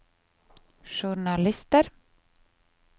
journalister